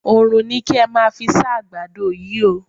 Oòrùn ni kí ẹ́ máa fí sá ẹ̀ àgbàdo yí o.